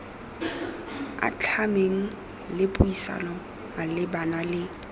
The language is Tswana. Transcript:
atlhameng le puisano malebana le